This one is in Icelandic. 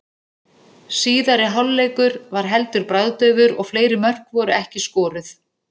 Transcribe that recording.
Síðari hálfleikur var heldur bragðdaufur og fleiri mörk voru ekki skoruð.